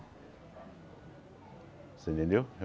Você entendeu?